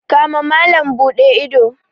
kama malam Bude ido.